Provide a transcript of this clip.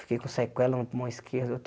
Fiquei com sequela no pulmão esquerdo.